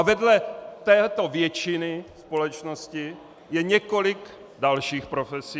A vedle této většiny společnosti je několik dalších profesí...